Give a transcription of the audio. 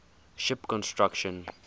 ship construction